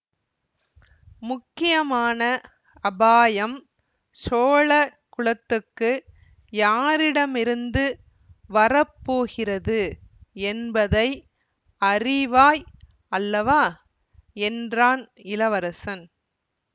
முக்கியமான அபாயம் சோழ குலத்துக்கு யாரிடமிருந்து வர போகிறது என்பதை அறிவாய் அல்லவா என்றான் இளவரசன்